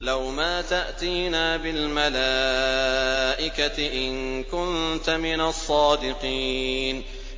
لَّوْ مَا تَأْتِينَا بِالْمَلَائِكَةِ إِن كُنتَ مِنَ الصَّادِقِينَ